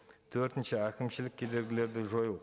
төртінші әкімшілік кедергілерді жою